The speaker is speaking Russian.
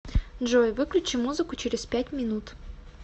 джой выключи музыку через пять минут